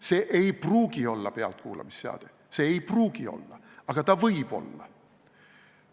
See ei pruugi olla pealtkuulamisseade, aga võib olla.